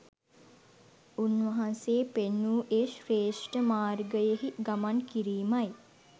උන්වහන්සේ පෙන්වූ ඒ ශ්‍රේෂ්ඨ මාර්ගයෙහි ගමන් කිරීමයි